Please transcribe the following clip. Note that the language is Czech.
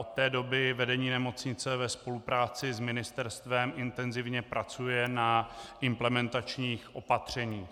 Od té doby vedení nemocnice ve spolupráci s ministerstvem intenzivně pracuje na implementačních opatřeních.